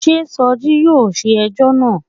Sé Soji yóò ṣe ẹjọ́ náà.